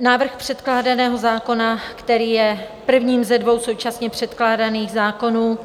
Návrh předkládaného zákona, který je první ze dvou současně předkládaných zákonů